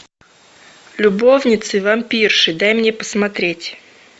любовницы вампирши дай мне посмотреть